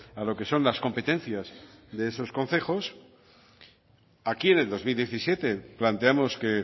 a lo que son las competencias de esos concejos aquí en el dos mil diecisiete planteamos que